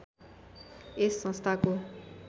यस संस्थाको